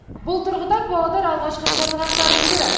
бұл тұрғыда павлодар алғашқы қарлығаштардың бірі